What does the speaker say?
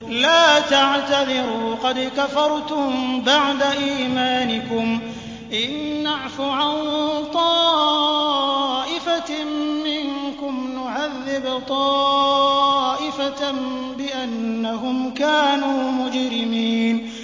لَا تَعْتَذِرُوا قَدْ كَفَرْتُم بَعْدَ إِيمَانِكُمْ ۚ إِن نَّعْفُ عَن طَائِفَةٍ مِّنكُمْ نُعَذِّبْ طَائِفَةً بِأَنَّهُمْ كَانُوا مُجْرِمِينَ